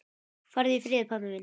Farðu í friði, pabbi minn.